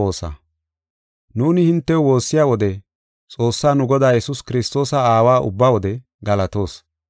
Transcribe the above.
Nuuni hintew woossiya wode Xoossaa nu Godaa, Yesuus Kiristoosa Aawa ubba wode galatoos.